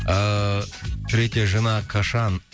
ыыы третья жена кашан